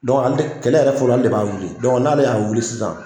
ale kɛlɛ yɛrɛ fɔlɔ ale de b'a wili n'ale y'a wili sisan